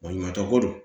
Baɲumankɛ ko don